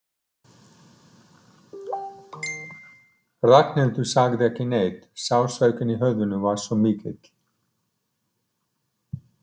Ragnhildur sagði ekki neitt, sársaukinn í höfðinu var svo mikill.